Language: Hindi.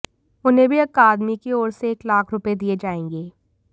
उन्हें भी अकादमी की ओर से एक लाख रुपये दिए जाएंगे